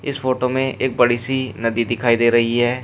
इस फोटो में एक बड़ी सी नदी दिखाई दे रही है।